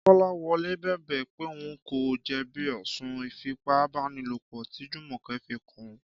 Kọ́láwọlé bẹ̀bẹ̀ pé òun kò jẹ̀bi ẹ̀sùn Ìfipábánilòpọ̀ tí Jùmọ̀kẹ́ fi kàn án